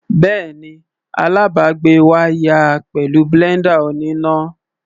Bẹ́ẹ̀ni, alábàgbé wá yá a pẹ̀lú blender oníná.